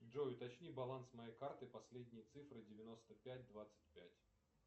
джой уточни баланс моей карты последние цифры девяносто пять двадцать пять